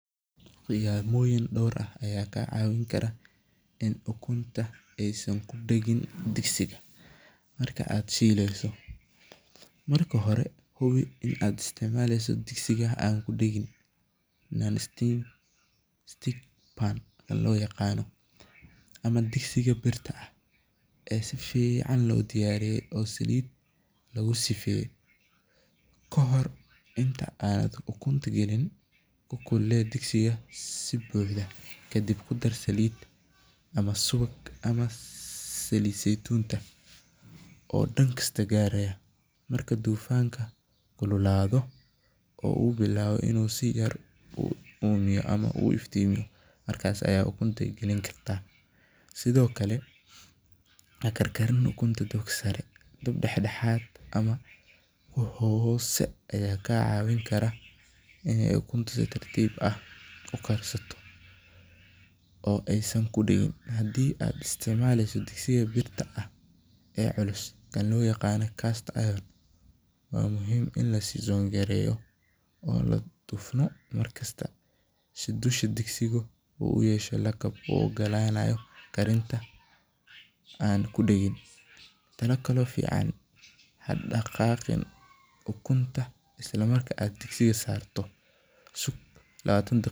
Qiyamoyin door ah ayaa ka cawin kara in ukunta aay kudagin digsiga marki aad shileyso, marka hore hubi inaad isticmaasho digsiga birta oo saliid lagu sifeeye, kahor ukuleele digsiga si fican kadib saliid ama subag oo dankasta gaaragmya, markuu kululaado ukunta Gali, ukunta hakarkarin dob sare, dob dexdexaad ah ama hoose ayaa kaa cawin kara in ukunta si tartiib ah ukarsanto, waa muhiim in la tufo markassta si dusha uu san kudagin, hadaqaqin ukunta marka aad digsiga saarto, sug labaatan daqiiqa.